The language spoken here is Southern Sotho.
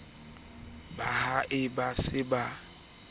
ba ha a se a